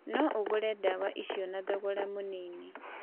No ũgũre dawa icio na thogora mũnini.